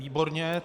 Výborně.